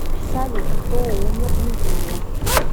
салют кто умер в нигерия